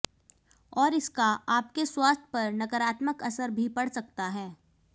और इसका आपके स्वास्थ्य पर नकारात्मक असर भी पड़ सकता है